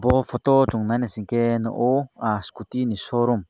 aw photo chung naina sing ke o scooty ni showroom.